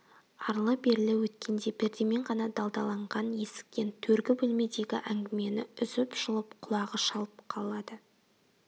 арлы-берлі өткенде пердемен ғана далдаланған есіктен төргі бөлмедегі әңгмені үзіп-жұлып құлағы шалып қалады